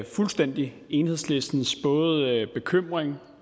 fuldstændig enhedslistens både bekymring